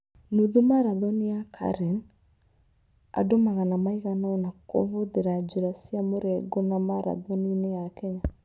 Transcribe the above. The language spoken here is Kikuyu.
Nũthu Maratoni ya Karen: Andũ magana maigana ũna kũvũthira njĩra cia mũrengo na marathoni-inĩ ya Kenya.